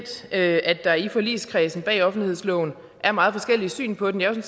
at der i forligskredsen bag offentlighedsloven er meget forskellige syn på den